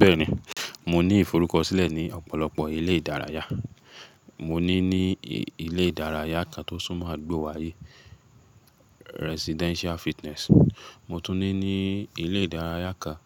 Bẹ́ẹ̀ni, mo ní ìforúkọ sílẹ̀ ní ọ̀pọ̀lọpọ̀ ilé ìdárayá. Mo ní ní ilé ìdárayá kan tó súnmọ́ àdúgbò wa yìí, Residential Fitness. Mo tún ní ní ilé ìdárayá kan